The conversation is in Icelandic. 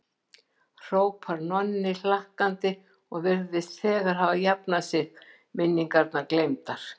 hrópar Nonni hlakkandi og virðist þegar hafa jafnað sig, minningar gleymdar.